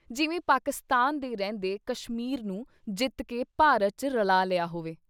ਜਿਵੇਂ ਪਾਕਿਸਤਾਨ ਦੇ ਰਹਿੰਦੇ ਕਸ਼ਮੀਰ ਨੂੰ ਜਿੱਤ ਕੇ ਭਾਰਤ ’ਚ ਰਲ਼ਾ ਲਿਆ ਹੋਵੇ।